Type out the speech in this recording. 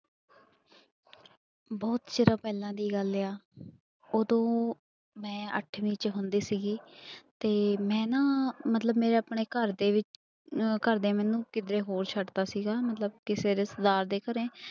ਬਹੁਤ ਚਿਰ ਪਹਿਲਾਂ ਦੀ ਗੱਲ ਆ, ਉਦੋਂ ਮੈਂ ਅੱਠਵੀਂ ਚ ਹੁੰਦੀ ਸੀਗੀ ਤੇ ਮੈਂ ਨਾ ਮਤਲਬ ਮੇਰੇ ਆਪਣੇ ਘਰਦੇ ਅਹ ਘਰਦੇ ਮੈਨੂੰ ਕਿੱਤੇ ਹੋਰ ਛੱਡ ਦਿੱਤਾ ਸੀਗਾ ਮਤਲਬ ਕਿਸੇ ਰਿਸ਼ਤੇਦਾਰ ਦੇ ਘਰੇ